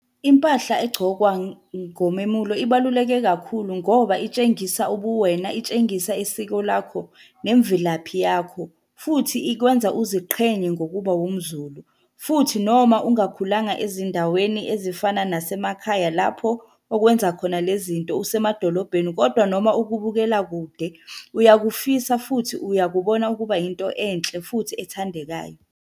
Impahla egcokwa ngomemulo ibaluleke kakhulu ngoba itshengisa ubuwena, itshengisa isiko lakho nemvelaphi yakho, futhi ikwenza uziqhenye ngokuba umZulu, futhi noma ungakhulanga ezindaweni ezifana nasemakhaya lapho okwenza khona le zinto usemadolobheni, kodwa noma ukubukela kude, uyakufisa futhi uyakubona kuba yinto enhle futhi ethandekayo.